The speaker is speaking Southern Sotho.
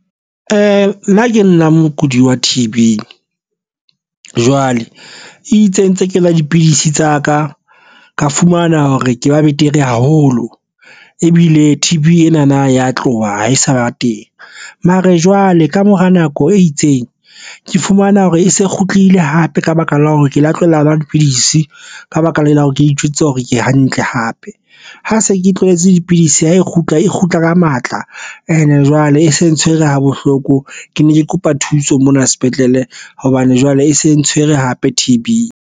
E nna ke nna mokudi wa T_B jwale e itse ntse ke nwa dipidisi tsa ka, ka fumana hore ke ba betere haholo ebile T_B ena na ya tloha ha e sa ba teng mare jwale ka mora nako e itseng ke fumana hore e se kgutlile hape ka baka la hore ke lo tlohela ho nwa dipidisi ka baka la hore ke itjwetsitse hore ke hantle hape. Ha se ke tlohetse dipidisi ho e kgutla e kgutla ka matla ene jwale e se ntshwere ha bohloko. Ke ne ke kopa thuso mona sepetlele hobane jwale e se ntshwere hampe T_B.